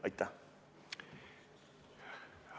Aitäh!